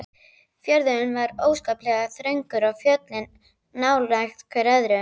Fjörðurinn var óskaplega þröngur og fjöllin nálægt hvert öðru.